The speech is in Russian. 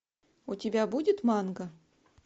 у тебя будет манга